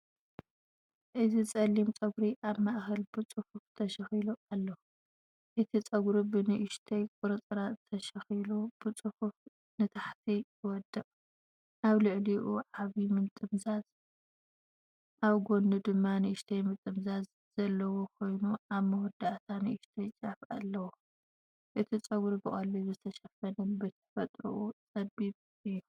እዚ ጸሊም ጸጉሪ ኣብ ማእከል ብጽፉፍ ተሸኺሉ ኣሎ። እቲ ጸጉሪ ብንእሽቶ ቁርጽራጽ ተሸኺሉ ብጽፉፍ ንታሕቲ ይወድቕ። ኣብ ልዕሊኡ ዓቢ ምጥምዛዝ ኣብ ጎድኑ ድማ ንእሽቶ ምጥምዛዝ ዘለዎ ኮይኑኣብ መወዳእታ ንእሽቶ ጫፍ ኣለዎ። እቲ ጸጉሪ ብቐሊሉ ዝተሸፈነን ብተፈጥሮኡ ጸቢብን እዩ።